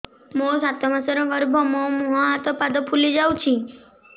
ମୋ ସାତ ମାସର ଗର୍ଭ ମୋ ମୁହଁ ହାତ ପାଦ ଫୁଲି ଯାଉଛି